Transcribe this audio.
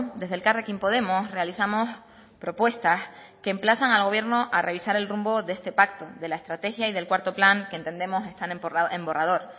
desde elkarrekin podemos realizamos propuestas que emplazan al gobierno a revisar el rumbo de este pacto de la estrategia y del cuarto plan que entendemos están en borrador